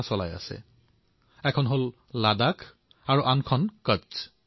সেয়া হৈছে লাডাখ আৰু আনখন কচ্ছ